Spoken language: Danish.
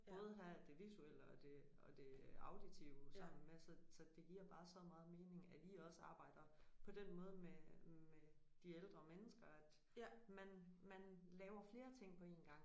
Både havde det visuelle og det og det auditive sammen med så så det giver bare så meget mening at I også arbejder på den måde med med de ældre mennesker at man man laver flere ting på én gang